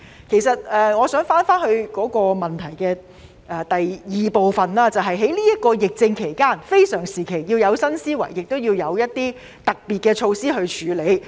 其實，我想返回主體質詢第二部分，在這段疫症期間，非常時期要有新思維，亦要有一些特別措施去處理。